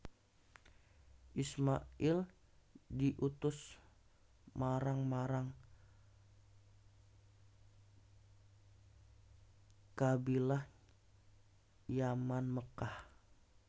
Isma il diutus marang marang Qabilah Yaman Mekkah